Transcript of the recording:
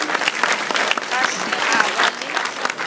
ga se a ba le